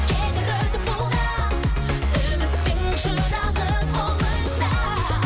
кетер өтіп бұл да үміттің шырағы қолыңда